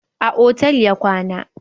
A otal ya kwana